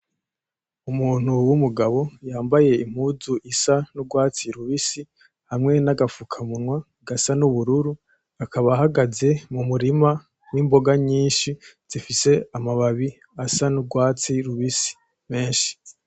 Umuntu w‘ umugabo yambaye impuzu isa n‘ urwatsi rubisi, hamwe n‘ agafukamunwa gasa n‘ ubururu, akaba ahagaze mu murima w‘ imboga nyinshi zifise amababi asa n‘ urwatsi rubisi menshi .